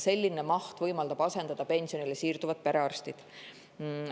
Selline maht võimaldab asendada pensionile siirduvaid perearste.